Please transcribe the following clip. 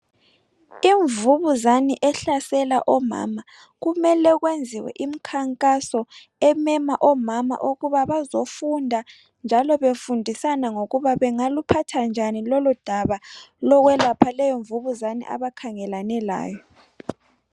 Imvubuzane ehlasela omama kumele kwenziwe imkhankaso emema omama ukuba bazofunda njalo befundisana ngokuba bengaluphatha njani lolu daba lokwelapha leyo mvubuzane abakhangelane layo